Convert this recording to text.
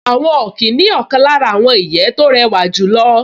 Àwọn ọ̀kín ní ọ̀kan lára àwọn ìyẹ́ tó rẹwà jùlọ